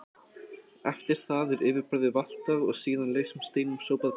Eftir það er yfirborðið valtað og síðan lausum steinum sópað burt.